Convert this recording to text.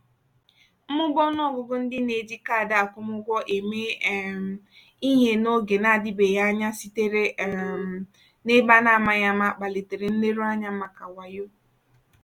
mmụba ọnụ ọgụgụ ndị na-eji kaadị akwụmụgwọ eme um ihe n'oge na-adịbeghị anya sitere um na ebe a na-amaghị ama kpalitere nleruanya maka wayo.